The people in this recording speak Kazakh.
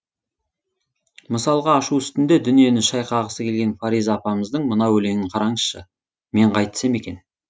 мысалға ашу үстінде дүниені шайқағысы келген фариза апамыздың мына өлеңін қараңызшы мен қайтсем екен